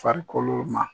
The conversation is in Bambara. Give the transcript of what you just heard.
Farikolo ma